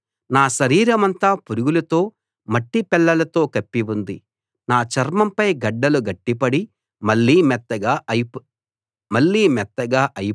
నా శరీరమంతా పురుగులతో మట్టిపెళ్లలతో కప్పి ఉంది నా చర్మంపై గడ్డలు గట్టిపడి మళ్ళీ మెత్తగా అయిపోయి బాధ పెడతాయి